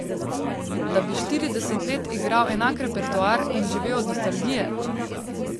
Da bi štirideset let igral enak repertoar in živel od nostalgije?